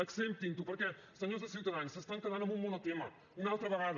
acceptin ho perquè senyors de ciutadans s’estan quedant en un monotema una altra vegada